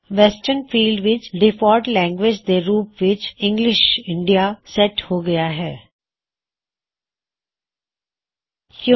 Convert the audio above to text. ਤੁਸੀ ਦੇਖੋਂ ਗੇ ਡਿਫਾਲਟ ਲੈਂਗਵਿਜਿਜ਼ ਫੌਰ ਡੌਕਯੁਮੈੱਨਟਸ ਦੇ ਥੱਲੇ ਵੈਸਟ੍ਰਨ ਫ਼ੀਲਡ ਵਿੱਚ ਡਿਫਾਲਟ ਲੈਂਗਵਿਜ ਦੇ ਰੂਪ ਵਿੱਚ ਇੰਗਲਿਸ਼ ਇੰਡੀਆ ਸੈੱਟ ਹੈ